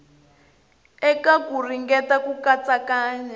eka ku ringeta ku katsakanya